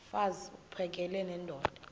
mfaz uphakele nendoda